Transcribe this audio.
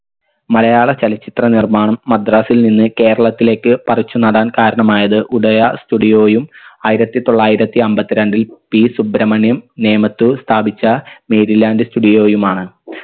മലയാള ചലച്ചിത്ര നിർമ്മാണം മദ്രാസിൽ നിന്ന് കേരളത്തിലേക്ക് പറിച്ചു നടാൻ കാരണമായത് ഉദയ studio യും ആയിരത്തി തൊള്ളായിരത്തി അമ്പത്തി രണ്ടിൽ P സുബ്രമണ്യം നേമത്ത് സ്ഥാപിച്ച mary land studio യുമാണ്